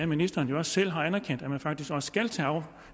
ministeren jo selv har anerkendt at man faktisk også skal tage